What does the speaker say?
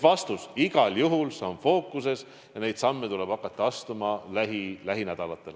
Vastus: igal juhul on see fookuses ja neid samme tuleb hakata astuma lähinädalatel.